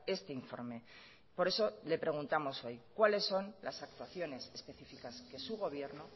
este informe por eso le preguntamos hoy cuáles son las actuaciones específicas que su gobierno